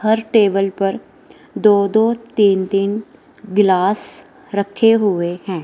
हर table पर दो दो तीन तीन गिलास रखे हुए हैं।